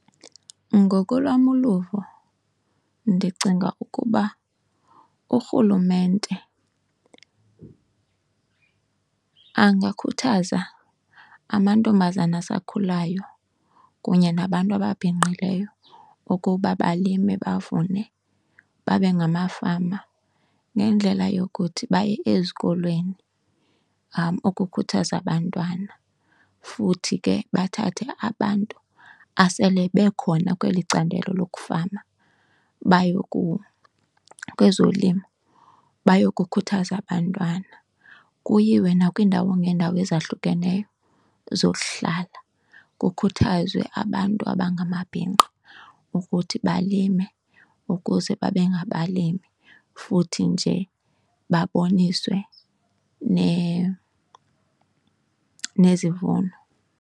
Ngokolwam uluvo ndicinga ukuba uRhulumente angakhuthaza amantombazana asakhulayo kunye nabantu ababhinqileyo ukuba balime bavune babe ngamafama ngendlela yokuthi baye ezikolweni ukukhuthaza abantwana. Futhi ke bathathe abantu asele bekhona kweli candelo lokufama baye kuwo kwezolimo bayokukhuthaza abantwana. Kuyiwe nakwiindawo ngeendawo ezahlukeneyo ezokuhlala kukhuthazwe abantu abangamabhinqa ukuthi balime ukuze babe ngabalimi, futhi nje baboniswe nezivuno.